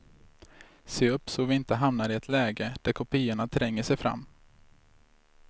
Se upp så vi inte hamnar i ett läge där kopiorna tränger sig fram.